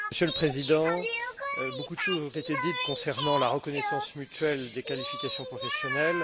Monsieur le Président, beaucoup de choses ont été dites sur la reconnaissance mutuelle des qualifications professionnelles.